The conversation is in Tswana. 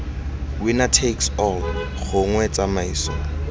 winner takes all gongwe tsamaiso